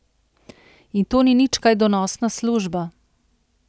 In to nič kaj donosna služba.